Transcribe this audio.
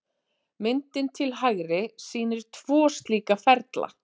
Myndin til hægri sýnir tvo slíka ferla.